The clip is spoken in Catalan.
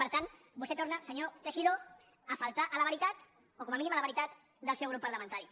per tant vostè torna senyor teixidó a faltar a la veritat o com a mínim a la veritat del seu grup parlamentari